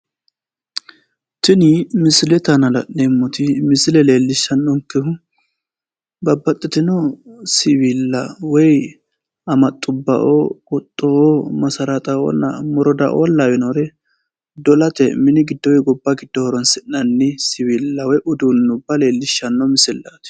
Tini misilete aana la'neemmoti misile leellishannonkehu babbaxxitino siwiilla amaxxubba qottubba masaraaxa'oonna moroda'o lawinore dolate mini giddo woyi gobba horoonsi'nannire leellishanno misillaati